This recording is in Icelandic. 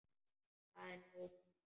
Það er nóg pláss.